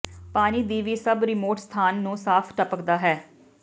ਪਾਣੀ ਦੀ ਵੀ ਸਭ ਰਿਮੋਟ ਸਥਾਨ ਨੂੰ ਸਾਫ਼ ਟਪਕਦਾ ਹੈ